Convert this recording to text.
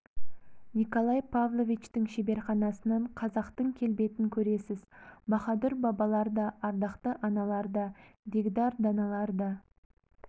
николай павловичтің шеберханасынан қазақтың келбетін көресіз баһадүр бабалар да ардақты аналар да дегдар даналар да